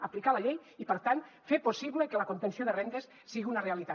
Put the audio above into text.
aplicar la llei i per tant fer possible que la contenció de rendes sigui una realitat